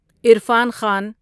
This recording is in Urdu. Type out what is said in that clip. عرفان خان